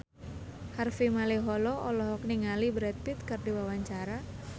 Harvey Malaiholo olohok ningali Brad Pitt keur diwawancara